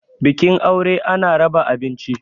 bikin aure ana raba abinci